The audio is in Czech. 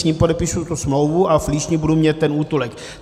S ním podepíši tu smlouvu a v Líšni budu mít ten útulek.